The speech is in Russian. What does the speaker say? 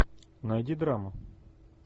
найди драму